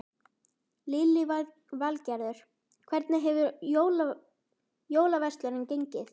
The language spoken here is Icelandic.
Lillý Valgerður: Hvernig hefur jólaverslunin gengið?